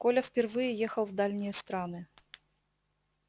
коля впервые ехал в дальние страны